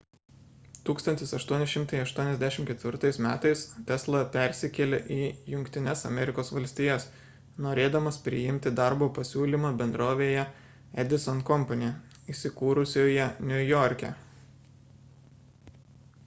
1884 m tesla persikėlė į jungtines amerikos valstijas norėdamas priimti darbo pasiūlymą bendrovėje edison company įsikūrusioje niujorke